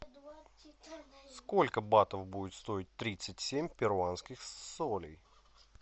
сколько батов будет стоить тридцать семь перуанских солей